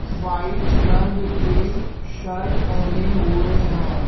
White रंग के shirt पहने हुए है।